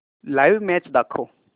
live match दाखव